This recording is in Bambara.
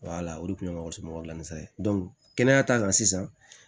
o de tun ye mɔgɔ somɔgɔ dilan ye kɛnɛya ta kan sisan